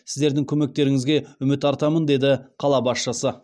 сіздердің көмектеріңізге үміт артамын деді қала басшысы